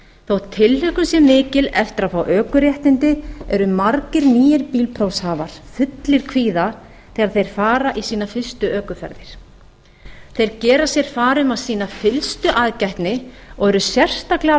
þótt tilhlökkun sé mikil eftir að fá ökuréttindi eru margir nýir bílprófshafar fullir kvíða þegar þeir fara í sína fyrstu ökuferðir þeir gera sér far um að sýna fyllstu aðgætni og eru sérstaklega